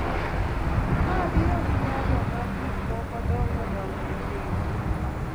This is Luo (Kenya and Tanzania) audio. Ma biro gi nyalo ma gik moko dongo dongo okelo,